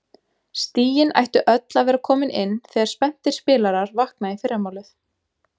Stigin ættu öll að vera komin inn þegar spenntir spilarar vakna í fyrramálið.